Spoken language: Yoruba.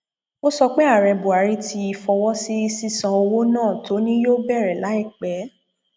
ó sọ pé ààrẹ buhari ti fọwọ sí sísan owó náà tó ni yóò bẹrẹ láìpẹ